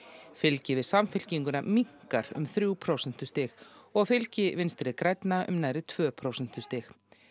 fylgi við Samfylkinguna minnkar um þrjú prósentustig og fylgi Vinstri grænna um nær tvö prósentustig